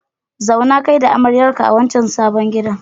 Zauna kai da amaryarka a wancan sabon gidan.